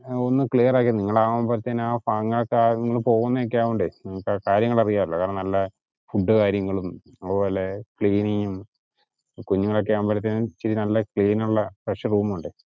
ആ ഒന്ന് clear ആക്കി താ, നിങ്ങൾ ആവുംബോഴാതെന്നു നിങ്ങള് പോവുന്നതൊക്കെ അയൊണ്ടേ കാര്യങ്ങൾ അറിയാല്ലോ കാരണം നല്ല food അതുപോലെ cleaning ഉം കുഞ്ഞുങ്ങൾ ഒക്കെ ആവുമ്പോഴത്തെന് ഇച്ചിരി നല്ല clean ഉള്ള fresh room വേണ്ടേ?